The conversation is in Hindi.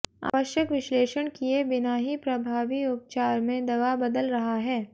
आवश्यक विश्लेषण किये बिना ही अप्रभावी उपचार में दवा बदल रहा है